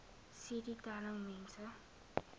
cd telling mense